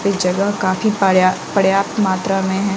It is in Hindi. ये जगह काफी पार्या पर्याप्त मात्रा में है।